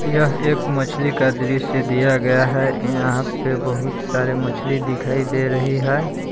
यह एक मछली का दृश्य दिया गया है यहां पे बहुत सारे मछली दिखाई दे रही है।